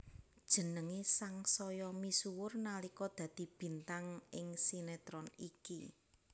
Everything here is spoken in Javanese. Jenengé sangsaya misuwur nalika dadi bintang ing sinetron iki